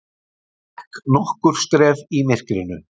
Gekk nokkur skref í myrkrinu.